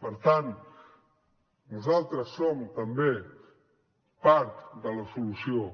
per tant nosaltres som també part de la solució